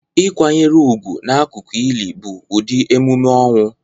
Ịkwanyere ugwu n'akụkụ ili bụ ụdị emume ọnwụ